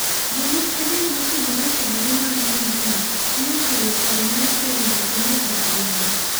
Jolup adek mopogore opogore mag grupno nokelo paro mar kendo to ne ok ayie.